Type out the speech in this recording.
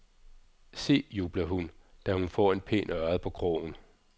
Se, jubler hun, da hun får en pæn ørred på krogen.